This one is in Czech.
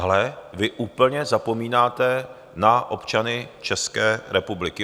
Ale vy úplně zapomínáte na občany České republiky.